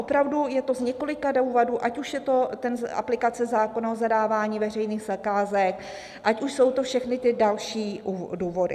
Opravdu je to z několika důvodů, ať už je to aplikace zákona o zadávání veřejných zakázek, ať už jsou to všechny ty další důvody.